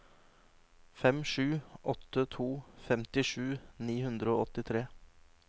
fem sju åtte to femtisju ni hundre og åttitre